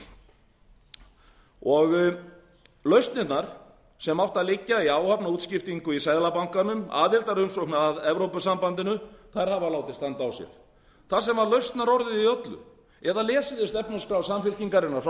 í lausnirnar sem áttu að liggja í áhafnarútskiptingu í seðlabankanum aðildarumsókn að evrópusambandinu hafa látið standa á sér þar sem lausnarorðið í öllu eða lesið þið stefnuskrá samfylkingarinnar frá því